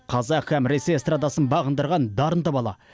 қазақ һәм ресей эстрадасын бағындырған дарынды бала